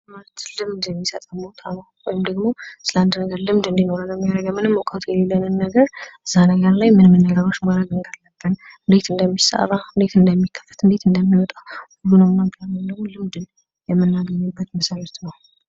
የትምህርት ልምድ የሚሰጠን ቦታ ነው። ወይንም ደግሞ ስለ አንድ ልምድ እንደኖረን የሚያደርገን ምንም እውቀቱ የሌለን ነገር እዛ ነገር ላይ ምን ምን ነገሮች ማድረግ እንዳለብን፣ እንዴት እንደሚሰራ፣ እንዴት እንደሚከፈት፣ እንዴት እንደሚወጣ ሁሉንም ነገር ወይንም ደግሞ ልምድ የምናገኝበት መስሪያ ቤት ነው።